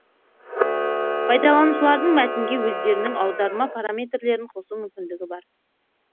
пайдаланушылардың мәтінге өздерінің аударма параметрлерін қосу мүмкіндігі бар